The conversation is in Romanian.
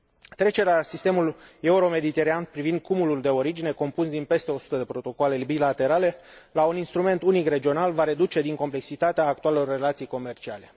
Trecerea la sistemul euro mediteranean privind cumulul de origine, compus din peste o sută de protocoale bilaterale, la un instrument unic regional va reduce din complexitatea actualelor relații comerciale.